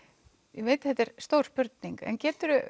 ég veit að þetta er stór spurning en getur